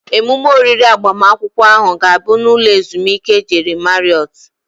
Emume oriri agbamakwụkwọ ahụ ga-abụ n'ụlọ ezumike Jeri Mariọt